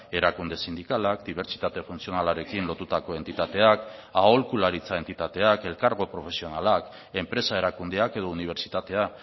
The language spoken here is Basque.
erakunde sindikalak dibertsitate funtzionalarekin lotutako entitateak aholkularitza entitateak elkargo profesionalak enpresa erakundeak edo unibertsitatea